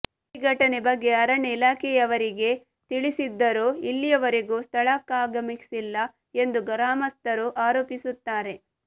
ಈ ಘಟನೆ ಬಗ್ಗೆ ಅರಣ್ಯ ಇಲಾಖೆಯವರಿಗೆ ತಿಳಿಸಿದ್ದರೂ ಇಲ್ಲಿವರೆಗೂ ಸ್ಥಳಕ್ಕಾಗಮಿಸಿಲ್ಲ ಎಂದು ಗ್ರಾಮಸ್ಥರು ಆರೋಪಿಸುತ್ತಾರೆ